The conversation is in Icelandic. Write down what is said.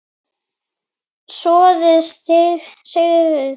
Soðið sigtað.